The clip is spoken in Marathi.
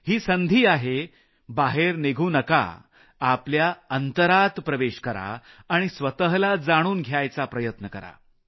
ही संधी आहे बाहेर निघू नका आपल्या अंतरात प्रवेश करा आणि स्वतःला जाणून घ्यायचा प्रयत्न करा